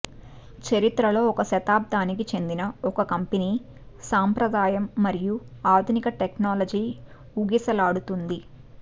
చరిత్రలో ఒక శతాబ్దానికి చెందిన ఒక కంపెనీ సంప్రదాయం మరియు ఆధునిక టెక్నాలజీ ఊగిసలాడుతుంది